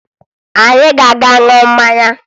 Anyị ga-aga ṅụọ mmanya